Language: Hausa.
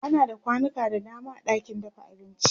ana da kwanuka da dama a ɗakin dafa abinci